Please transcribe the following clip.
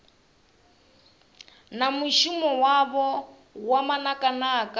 na mushumo wavho wa manakanaka